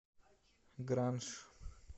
гранж